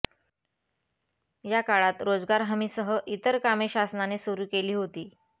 या काळात रोजगार हमीसह इतर कामे शासनाने सुरू केली होती